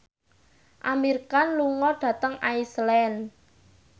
Amir Khan lunga dhateng Iceland